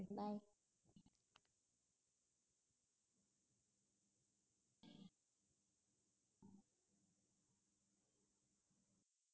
bye